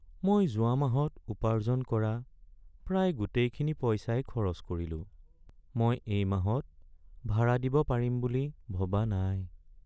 মই যোৱা মাহত উপাৰ্জন কৰা প্ৰায় গোটেইখিনি পইচাই খৰচ কৰিলোঁ। মই এই মাহত ভাড়া দিব পাৰিম বুলি ভবা নাই।